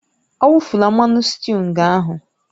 Awufula mmanụ sịtịụ nga ahụ!